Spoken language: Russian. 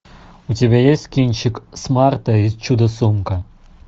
у тебя есть кинчик смарта и чудо сумка